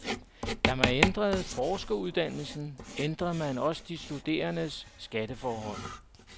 Da man ændrede forskeruddannelsen, ændrede man også de studerendes skatteforhold.